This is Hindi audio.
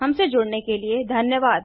हमसे जुड़ने के लिए धन्यवाद